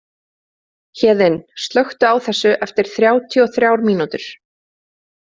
Héðinn, slökktu á þessu eftir þrjátíu og þrjár mínútur.